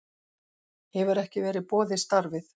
Hefur ekki verið boðið starfið